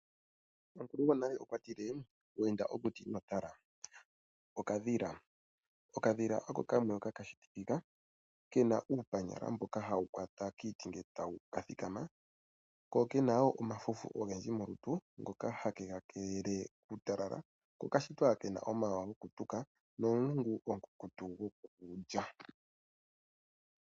Omukulu gwonale okwati inweenda okuti inotala. Okadhila, okadhila oko kamwe hoka kashitikika kena iipanyala ndjoka hayi kwatelele kiiti uuna kathikama, kokena omafufu ogendji ngoka hage kakelele kuutalala nomulungu omukukutu gwokushomona uuna takali.